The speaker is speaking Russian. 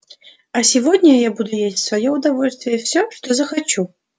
а сегодня я буду есть в своё удовольствие всё что захочу